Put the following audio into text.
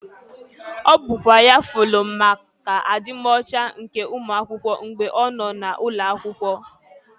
Ọ bụkwa ya fụlụ maka adi m ọcha nke ụmụakwụkwe mgbe ọ nọ n'ụlọ akwụkwo.